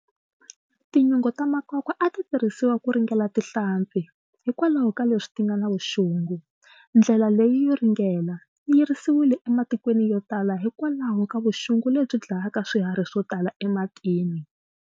Tinyunge ta makwakwa a titirhisiwa ku ringela tihlampfi, hikwalaho ka leswi tinga na vuxungu. Ndlela leyi yo ringela, yi yirisiwile e matikweni yo tala hi kwalaho ka vuxungu lebyi dlayaka swiharhi swotala ematini.